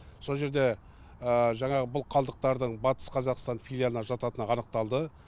сол жерде жаңағы бұл қалдықтардың батыс қазақстан филиалына жататыны анықталды